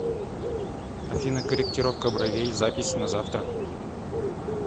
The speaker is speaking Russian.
афина корректировка бровей запись на завтра